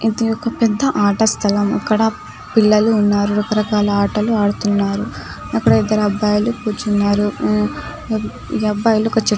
ఇది ఒక్క పెద్ద ఆట స్థలం ఇక్కడ పిల్లలు ఉన్నారు రకరకాల ఆటలు ఆడుతున్నారు అక్కడ ఇద్దరు అబ్బాయిలు కూర్చున్నారు అబ్బాయిలు ఒక్క చెట్టు --